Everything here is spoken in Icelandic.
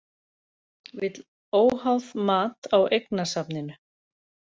Vill óháð mat á eignasafninu